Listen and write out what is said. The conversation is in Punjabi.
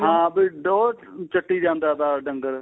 ਹਾਂ ਵੀ ਉਹ ਚੱਟੀ ਜਾਂਦਾ ਤਾ ਡੰਗਰ